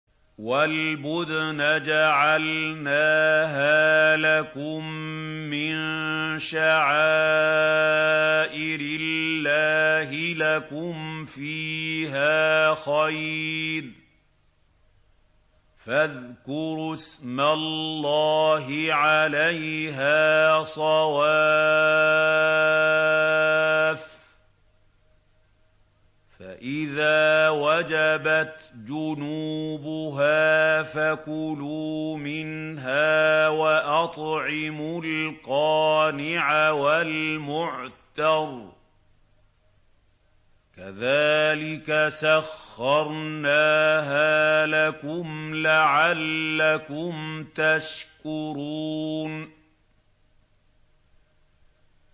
وَالْبُدْنَ جَعَلْنَاهَا لَكُم مِّن شَعَائِرِ اللَّهِ لَكُمْ فِيهَا خَيْرٌ ۖ فَاذْكُرُوا اسْمَ اللَّهِ عَلَيْهَا صَوَافَّ ۖ فَإِذَا وَجَبَتْ جُنُوبُهَا فَكُلُوا مِنْهَا وَأَطْعِمُوا الْقَانِعَ وَالْمُعْتَرَّ ۚ كَذَٰلِكَ سَخَّرْنَاهَا لَكُمْ لَعَلَّكُمْ تَشْكُرُونَ